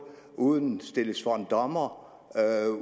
uden stillet for en dommer